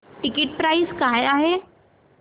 ticket price काय आहे